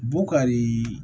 Bukari